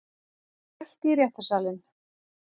Mætt í réttarsalinn